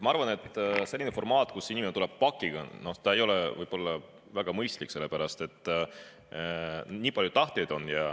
Ma arvan, et selline formaat, kus inimene tuleb pakiga, ei ole võib-olla väga mõistlik, sellepärast et nii palju tahtjaid on.